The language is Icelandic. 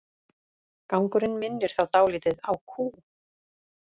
Gangurinn minnir þá dálítið á kú.